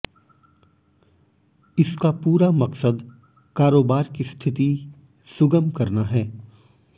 इसका पूरा मकसद कारोबार की स्थिति सुगम करना है